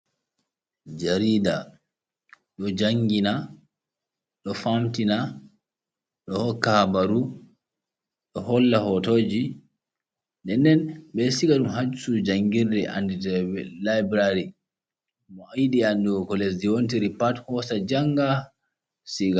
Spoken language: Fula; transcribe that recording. Jaarida ɗo janngina, ɗo famtina, ɗo hokka habaru, ɗo holla hotooji. Ndenden ɓe ɗo siga ɗum haa cuuɗi janngirde annditeeɗum laybulari. Mo yiɗi anndugo ko lesdi wontiri pat, hoosa jannga siga.